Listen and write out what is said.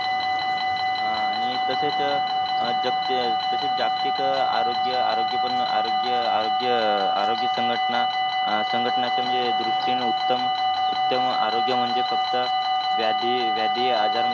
आह आणि तसेच अह जागति जागतिक आरोग्यआरोग्य आरोग्य आरोग्य आरोग्यसंघटना संघटनाच्या म्हणजे दृष्टीने उत्तम उत्तम आरोग्य म्हणजे फक्त व्याधी व्याधी आजार मुक्त